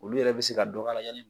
Olu yɛrɛ bɛ se ka dɔ k'a la yani